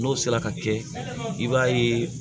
N'o sera ka kɛ i b'a ye